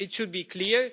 be? It should be clear.